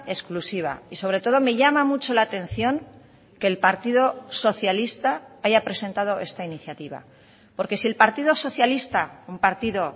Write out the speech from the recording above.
exclusiva y sobre todo me llama mucho la atención que el partido socialista haya presentado esta iniciativa porque si el partido socialista un partido